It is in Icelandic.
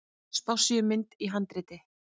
Spássíumynd í handriti.